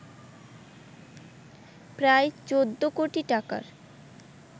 প্রায় ১৪ কোটি টাকার